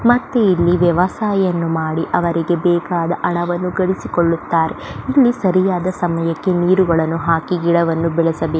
ಮತ್ತೆ ಇಲ್ಲಿ ವ್ಯವಸಾಯವನ್ನು ಮಾಡಿ ಅವರಿಗೆ ಬೇಕಾದ ಹಣವನ್ನು ಗಳಿಸಿಕೊಳ್ಳುತ್ತಾರೆ ಇಲ್ಲಿ ಸರಿಯಾದ ಸಮಯಕ್ಕೆ ನೀರುಗಳನ್ನು ಹಾಕಿ ಗಿಡಗಳನ್ನು ಬೆಳೆಸಬೆಕ್ --